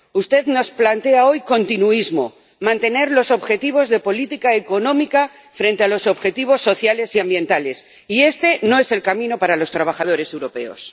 Usted nos plantea hoy continuismo, mantener los objetivos de política económica frente a los objetivos sociales y ambientales, y este no es el camino para los trabajadores europeos.